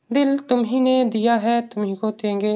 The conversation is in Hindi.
दिल तुम्ही ने दिया है तुम्ही को देंगे।